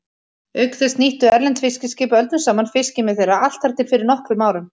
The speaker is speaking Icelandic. Auk þess nýttu erlend fiskiskip öldum saman fiskimið þeirra, allt þar til fyrir nokkrum árum.